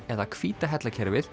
eða hvíta